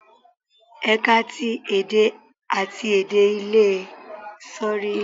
Ẹ̀ka ti èdè àti èdè ilè Áfíríkà ní ọgbà OAU má a ń wọ àǹkará gẹ́gẹ́ bíi aṣọ ẹgbẹ́jọdá wọn